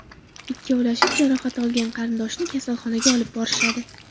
Ikkovlashib jarohat olgan qarindoshni kasalxonaga olib borishadi.